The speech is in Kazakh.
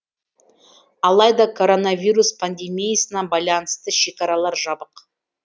алайда коронавирус пандемиясына байланысты шекаралар жабық